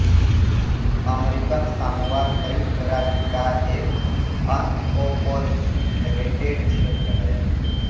American Samoa संयुक्त राज्य का एक अनओर्पोरेटेड क्षेत्र है